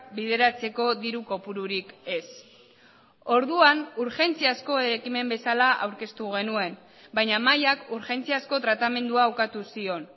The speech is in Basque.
bideratzeko diru kopururik ez orduan urgentziazko ekimen bezala aurkeztu genuen baina mahaiak urgentziazko tratamendua ukatu zion